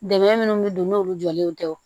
Dɛmɛ minnu bɛ don n'olu jɔlenw tɛ wo